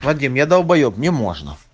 вадим я долбаеб мне можно